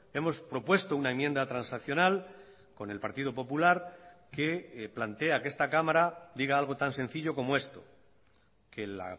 hemos propuesto una enmienda transaccional con el partido popular que plantea que esta cámara diga algo tan sencillo como esto que el